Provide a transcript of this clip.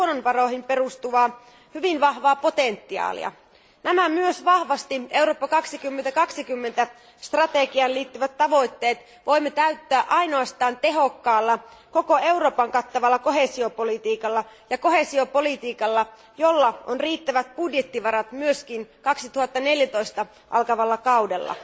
luonnonvaroihin perustuvaa hyvin vahvaa potentiaalia. Nämä myös vahvasti Eurooppa 2020 strategiaan liittyvät tavoitteet voimme täyttää ainoastaan tehokkaalla, koko Euroopan kattavalla koheesiopolitiikalla, jolla on riittävät budjettivarat myös 2014 alkavalla kaudella.